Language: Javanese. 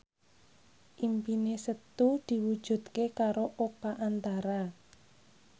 impine Setu diwujudke karo Oka Antara